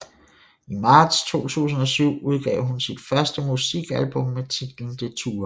I marts 2007 udgav hun sit første musikalbum med titlen Detour